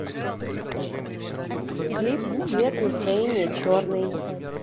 клип цвет настроения черный